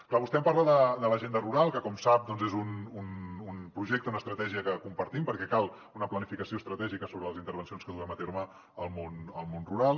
clar vostè em parla de l’agenda rural que com sap doncs és un projecte una estratègia que compartim perquè cal una planificació estratègica sobre les intervencions que duem a terme al món rural